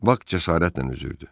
Bak cəsarətlə üzürdü.